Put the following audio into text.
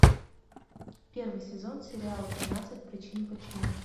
первый сезон сериала тринадцать причин почему